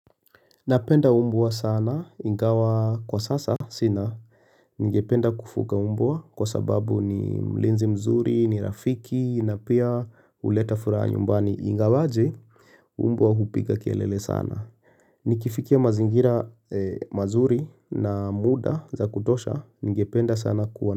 Napenda mbwa sana, ingawa kwa sasa sina. Ningependa kufunga mbwa kwa sababu ni mlinzi mzuri, ni rafiki na pia huleta furaha nyumbani. Ingawaje mbwa hupiga kelele sana. Nikifikia mazingira mazuri na muda za kutosha ningependa sana kuwa.